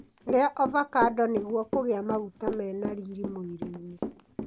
Ria ovacando nĩguo kũgĩa maguta mena riri mwĩrĩinĩ.